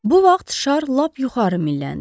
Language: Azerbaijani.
Bu vaxt şar lap yuxarı milləndi.